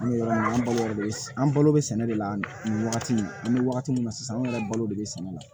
An bɛ yɔrɔ min na an balo bɛ an balo be sɛnɛ de la nin wagati in an bɛ wagati min na sisan an yɛrɛ balo de bɛ sɛnɛ la